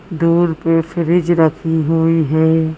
दूर पे फ्रिज रखी हुई है।